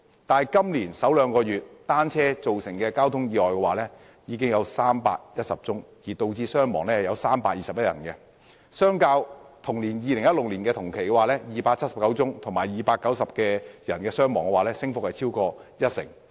但今年首兩個月，單車釀成的交通意外已經有310宗，導致321人傷亡，相較2016年同期的279宗和290人傷亡，升幅超過一成。